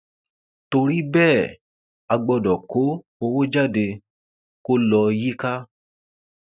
torí bẹẹ a gbọdọ kó owó jáde kó lọ yíká